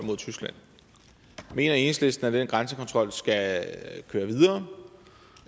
mod tyskland mener enhedslisten at den grænsekontrol skal køre videre